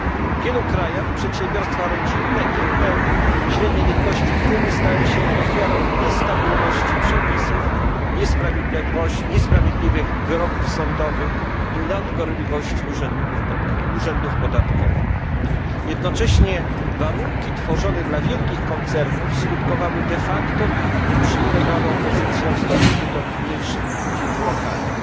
W wielu krajach przedsiębiorstwa rodzinne i inne średniej wielkości firmy stają się ofiarą niestabilności przepisów, niesprawiedliwych wyroków sądowych i nadgorliwości urzędów podatkowych. Jednocześnie warunki tworzone dla wielkich koncernów skutkowały de facto ich uprzywilejowaną pozycją w stosunku do mniejszych firm lokalnych.